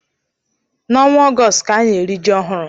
N'ọnwa Ọgọọst ka ana-eri ji ọhụrụ.